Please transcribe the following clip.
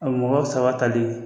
A mɔgɔ saba tali.